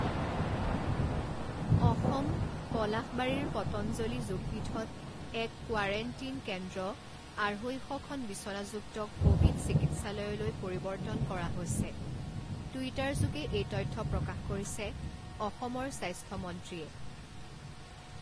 অসমঃ পলাশবাৰীৰ পতঞ্জলি যোগপীঠত এক কোৱাৰেণ্টিন কেন্দ্ৰ আঢ়ৈ শ খন বিচনাযুক্ত ক’ভিড চিকিৎসালয়লৈ পৰিৱৰ্তন কৰা হৈছে, টুইটাৰযোগে এই তথ্য প্ৰকাশ কৰিছে অসমৰ স্বাস্থ্য মন্ত্ৰীয়ে।